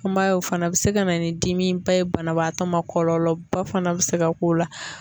I m'a ye o fana bɛ se ka na ni dimiba ye banabaatɔ ma, kɔlɔlɔ ba fana bɛ se ka k'o la.